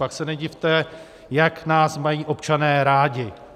Pak se nedivte, jak nás mají občané rádi.